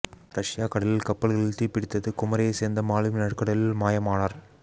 Russia கடலில் கப்பல்களில் தீ பிடித்தது குமரியை சேர்ந்த மாலுமி நடுக்கடலில் மாயமானார்